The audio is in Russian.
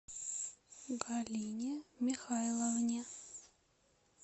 галине михайловне